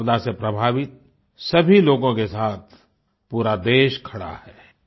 इस आपदा से प्रभावित सभी लोगों के साथ पूरा देश खड़ा है